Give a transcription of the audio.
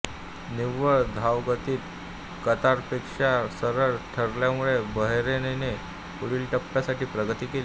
निव्वळ धावगतीत कतारपेक्षा सरस ठरल्यामुळे बहरैनने पुढील टप्प्यासाठी प्रगती केली